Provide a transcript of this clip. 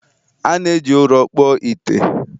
a na-eji ụrọ kpụọ ite